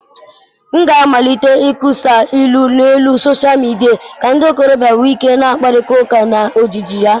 M ga-amalite ịkesa ilu n'elu soshal midia ka ndị ntorobịa wee na-akparịta ụka na ojiji ya.